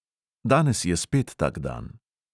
Danes je spet tak dan.